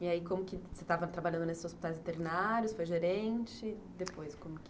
E aí, como que você estava trabalhando nesses hospitais internários, foi gerente, depois como que?